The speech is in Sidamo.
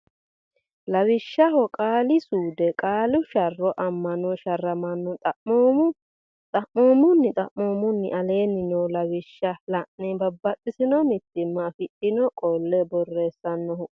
Lawishsha Qaali suude Qaale sharr amanno sharramanno xaphoom unni xaphoomunni aleenni noo lawishsha laine Babbaxxitino mitiimma afidhino qole borreessannohu ayeti.